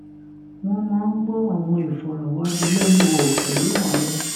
wón máa ń gbó àwọn ìfòròwánilénuwò pẹlú àwọn